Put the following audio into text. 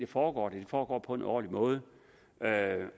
foregår foregår på en ordentlig måde